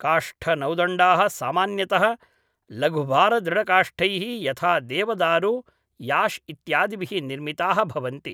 काष्ठनौदण्डाः सामान्यतः लघुभारदृढकाष्ठैः यथा देवदारु याश् इत्यादिभिः निर्मिताः भवन्ति